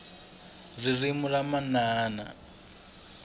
ririmi ra manana